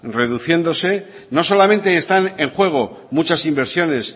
reduciéndose no solamente están en juego muchas inversiones